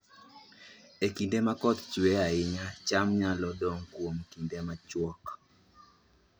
E kinde ma koth chue ahinya, cham nyalo dong' kuom kinde machuok